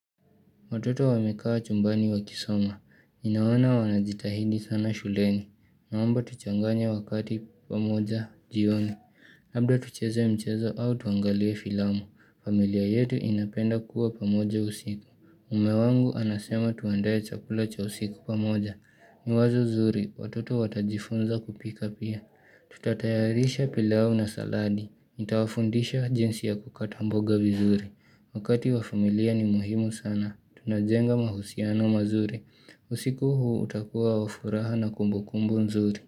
Watoto wamekaa chumbani wakisoma, ninaona wanajitahidi sana shuleni, naomba tuchanganya wakati pamoja jioni, labda tucheze mchezo au tuangalie filamu, familia yetu inapenda kuwa pamoja usiku, mume wangu anasema tuandae chakula cha usiku pamoja, ni wazo zuri, watoto watajifunza kupika pia, tutatayarisha pilau na saladi, nitawafundisha jinsi ya kukata mboga vizuri, wakati wa familia ni muhimu sana. Tunajenga mahusiano mazuri. Usiku huu utakuwa wafuraha na kumbukumbu nzuri.